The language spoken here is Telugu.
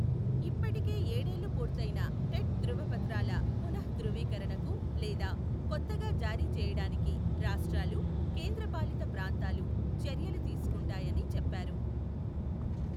ఇప్పటికే ఏడేళ్లు పూర్తయిన టెట్ ధృవపత్రాల పునఃధృవీకరణకు లేదా కొత్తగా జారీ చేయడానికి రాష్ట్రాలు, కేంద్ర పాలిత ప్రాంతాలు చర్యలు తీసుకుంటాయని చెప్పారు.